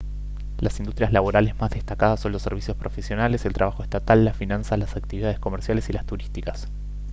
las industrias laborales más destacadas son los servicios profesionales el trabajo estatal las finanzas las actividades comerciales y las turísticas